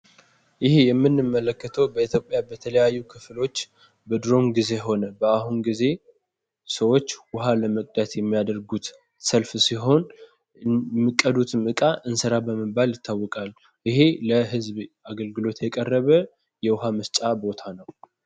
ይህ የምንመለከተው በኢትዮጵያ በተለያዩ ክፍሎች በድሮም ጊዜ ሆነ በአሁን ጊዜ ሰዎች ውሃ ለመቅዳት የሚያደርጉት ሰልፍ ሲሆን የሚቀዱትም እቃ እንስራ በመባል ይታወቃል ይሄ ለህዝብ አገልግሎት የቀረበ የውሃ መስጫ ቦታ ነው።